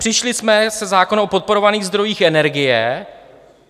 Přišli jsme se zákonem o podporovaných zdrojích energie.